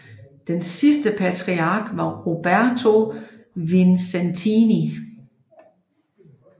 Den sidste patriark var Roberto Vincentini